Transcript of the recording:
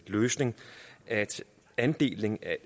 løsning at andelen